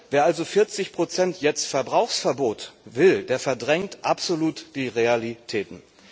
Wer also jetzt 40 Prozent Verbrauchsverbot will, der verdrängt absolut die Realitäten.